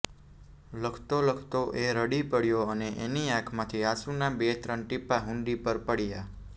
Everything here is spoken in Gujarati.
લખતો લખતો એ રડી પડ્યો અને એની આંખમાંથી આંસુનાં બે ત્રણ ટીપાં હુંડી પર પડ્યાં